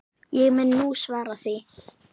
Ég mun nú svara því.